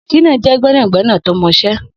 Shina jẹ̀ gbẹnágbẹná tó mọṣẹ̀